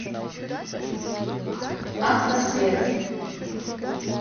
автосвет